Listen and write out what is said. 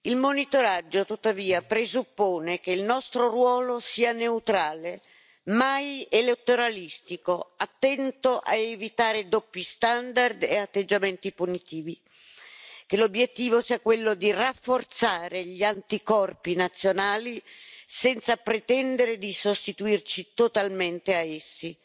Il monitoraggio, tuttavia, presuppone che il nostro ruolo sia neutrale, mai elettoralistico, attento a evitare doppi standard e atteggiamenti punitivi, e che l'obiettivo sia quello di rafforzare gli anticorpi nazionali, senza pretendere di sostituirci totalmente a essi,